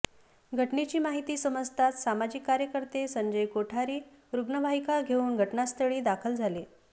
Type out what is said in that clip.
घटनेची माहिती समजताच सामाजिक कार्यकर्ते संजय कोठारी रुग्णवाहिका घेऊन घटनास्थळी दाखल झाले